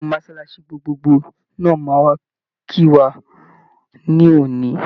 Ìmáàmù mọ́sálásí gbogbogbò náà máa wá kí wa ní òní.